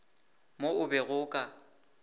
mo o bego o ka